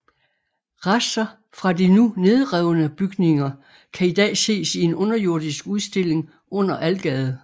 Rester fra de nu nedrevne bygninger kan i dag ses i en underjordisk udstilling under Algade